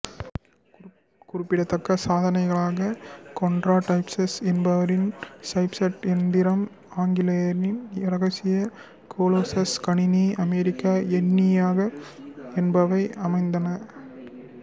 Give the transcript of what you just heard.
குறிப்பிடதக்க சாதனைகளாக Konrad Zuse என்பாரின் ஃசட் எந்திரம் ஆங்கிலேயரின் இரகசிய கொலோசஸ் கணினி அமெரிக்க என்னியாக் என்பவை அமைந்தன